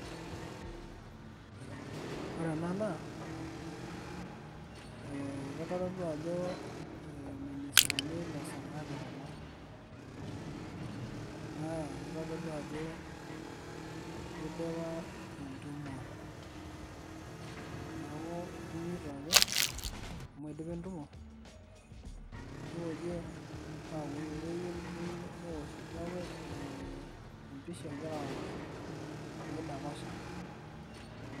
ore ena naa, kitodolu ajo irministani le sirkali kulo. naakitodolu ajo kidipa entumo, neeku kinyito ake amu idipa entumo, nikoji aaku keyieu, empisha egira aosh pee idapasha.